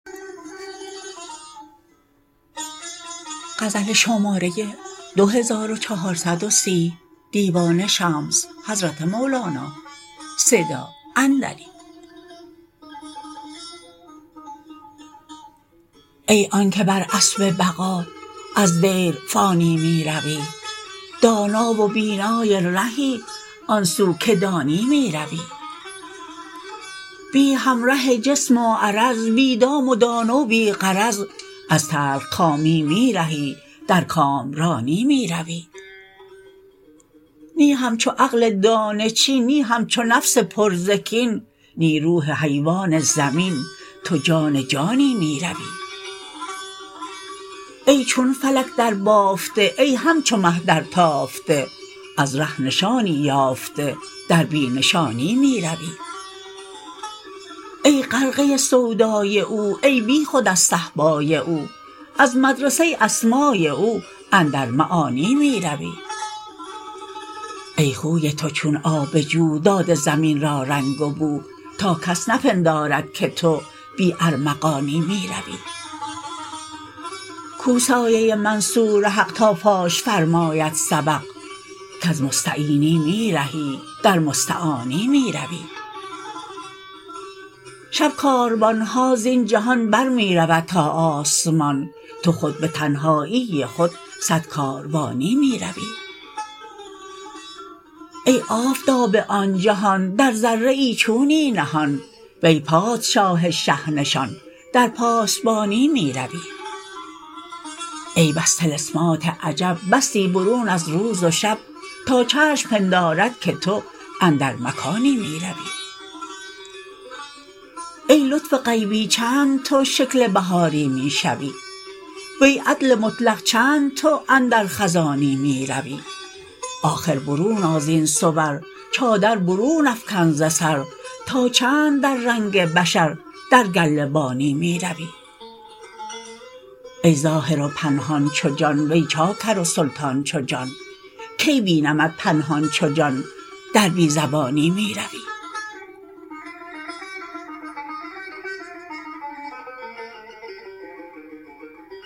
ای آن که بر اسب بقا از دیر فانی می روی دانا و بینای رهی آن سو که دانی می روی بی همره جسم و عرض بی دام و دانه و بی غرض از تلخکامی می رهی در کامرانی می روی نی همچو عقل دانه چین نی همچو نفس پر ز کین نی روح حیوان زمین تو جان جانی می روی ای چون فلک دربافته ای همچو مه درتافته از ره نشانی یافته در بی نشانی می روی ای غرقه سودای او ای بیخود از صهبای او از مدرسه اسمای او اندر معانی می روی ای خوی تو چون آب جو داده زمین را رنگ و بو تا کس نپندارد که تو بی ارمغانی می روی کو سایه منصور حق تا فاش فرماید سبق کز مستعینی می رهی در مستعانی می روی شب کاروان ها زین جهان بر می رود تا آسمان تو خود به تنهایی خود صد کاروانی می روی ای آفتاب آن جهان در ذره ای چونی نهان وی پادشاه شه نشان در پاسبانی می روی ای بس طلسمات عجب بستی برون از روز و شب تا چشم پندارد که تو اندر مکانی می روی ای لطف غیبی چند تو شکل بهاری می شوی وی عدل مطلق چند تو اندر خزانی می روی آخر برون آ زین صور چادر برون افکن ز سر تا چند در رنگ بشر در گله بانی می روی ای ظاهر و پنهان چو جان وی چاکر و سلطان چو جان کی بینمت پنهان چو جان در بی زبانی می روی